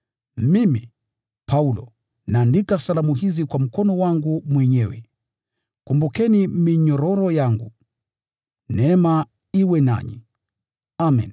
Mimi, Paulo, naandika salamu hizi kwa mkono wangu mwenyewe. Kumbukeni minyororo yangu. Neema iwe nanyi. Amen.